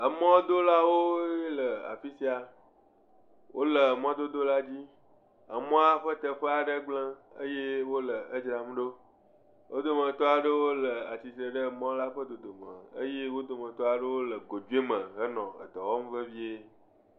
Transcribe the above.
Emɔdolawo le afi sia wole mɔdodo la dzi emɔa ƒe teƒe aɖe gblẽ eye wile dzram ɖo wodometɔ aɖe tia titre ɖe mɔa ƒe dodome eye wodometɔ aɖewo le godoe me hele dɔwɔm vevie